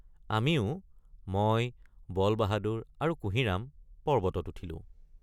আমিও — মই বলবাহাদুৰ আৰু কুহিৰামপৰ্বতত উঠিলো।